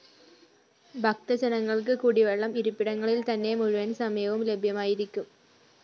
ഭക്തജനങ്ങൾക്ക് കുടിവെള്ളം ഇരിപ്പിടങ്ങളിൽ തന്നെ മുഴുവൻ സമയവും ലഭ്യമായിരിക്കും